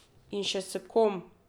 In še s kom.